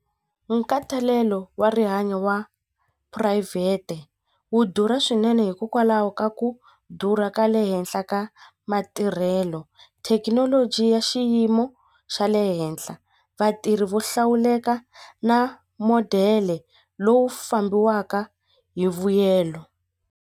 Nkhatalelo wa rihanyo wa phurayivhete wa durha swinene hikokwalaho ka ku durha ka le henhla ka matirhelo thekinoloji ya xiyimo xa le henhla vatirhi vo hlawuleka na modele lowu fambiwaka hi vuyelo.